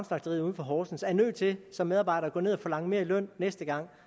slagteri uden for horsens er nødt til som medarbejder at gå ned og forlange mere i løn næste gang